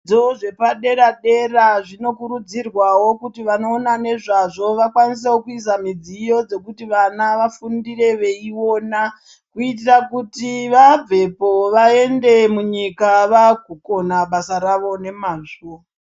Dzidzo dzepaderadera dzinokurudzkrwawo kuti vanoonana nezvazvo, vakwanisewo kuisa midziyo dzekuti vana vafundire veiwona kuitira kuti vabvepo vaende munyika, vakukona basa ravo nemazvo.